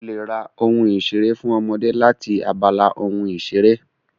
O lè ra ìṣeré fún ọmọdé láti abala ohun ìṣeré